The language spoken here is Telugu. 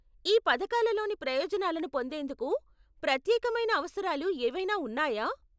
ఈ పథకాలలోని ప్రయోజనాలను పొందేందుకు ప్రత్యేకమైన అవసరాలు ఏవైనా ఉన్నాయా?